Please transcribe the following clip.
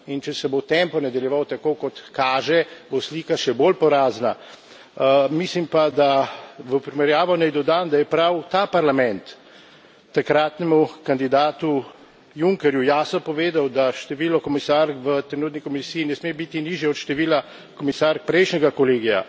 In če se bo tempo nadaljeval tako, kot kaže, bo slika še bolj porazna. Mislim pa da, v primerjavo naj dodam, da je prav ta Parlament takratnemu kandidatu Junckerju jasno povedal, da število komisark v trenutni Komisiji ne sme biti nižje od števila komisark prejšnjega kolegija.